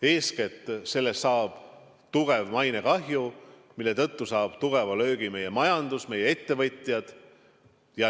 Eeskätt tekib selle tõttu suur mainekahju, mille tõttu saab tugeva löögi meie majandus, saavad meie ettevõtjad.